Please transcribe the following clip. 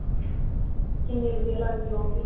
ਕਿੰਨੀ ਵਧੀਆ ਲੱਗਦੀ ਏ ਉਹ ਵੀ